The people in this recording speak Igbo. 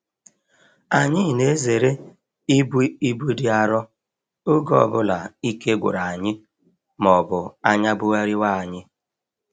Anyị na-ezere ibu ibu dị arọ oge ọ bụla ike gwụrụ anyị ma ọ bụ anya bugharịwa anyị.